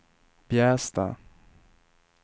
Bjästa